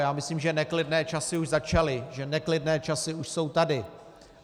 Já myslím, že neklidné časy už začaly, že neklidné časy už jsou tady.